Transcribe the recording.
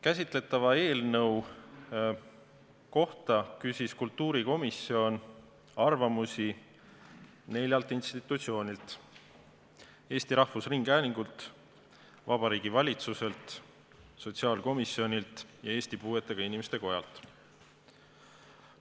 Käsitletava eelnõu kohta küsis kultuurikomisjon arvamusi neljalt institutsioonilt: Eesti Rahvusringhäälingult, Vabariigi Valitsuselt, sotsiaalkomisjonilt ja Eesti Puuetega Inimeste Kojalt.